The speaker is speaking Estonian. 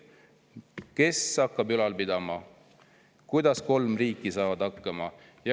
Kes hakkab seda ülal pidama, kuidas kolm riiki hakkama saavad?